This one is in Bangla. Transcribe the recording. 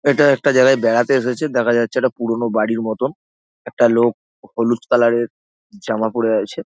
এটা একটা জায়গায় বেড়াতে এসেছে দেখা যাচ্ছে ।এটা পুরনো বাড়ির মতন একটা লোক হলুদ কালার -এর জামা পরে আছে।